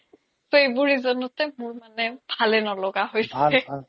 টো এইবোৰ reason তে মোৰ মানে ভালে নলগা হৈছে